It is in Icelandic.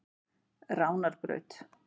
Ránarbraut